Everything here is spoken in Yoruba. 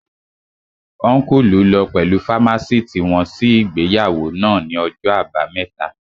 Ọ́nkùlù lọ pẹ̀lú fámásìtì wọn sí ìgbéyàwó náà ní ọjọ́ àbámẹ́ta